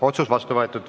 Otsus on vastu võetud.